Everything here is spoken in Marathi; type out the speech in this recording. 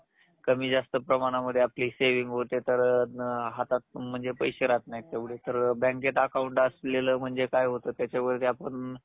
कमी जास्त प्रमाणामध्ये आपली saving होते तर हातात म्हणजे पैसे राहत नाहीत तेवढे बँकेत account असलेलं म्हणजे काय होतं त्याच्यावरती आपण